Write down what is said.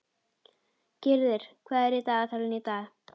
Gyrðir, hvað er í dagatalinu í dag?